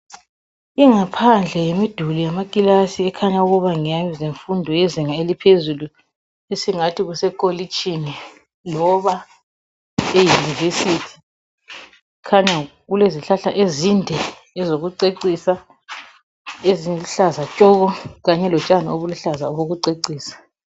Ingaphandle yemiduli yamakilasi ekhanya ukuba ngeyemfundo ye zinga eliphezulu esingathi kusekolitshini loba e yunivesithi khanya kulezihlahla ezinde ezokucecisa eziluhlaza tshoko kanye lotshani obuluhlaza obokucecisa.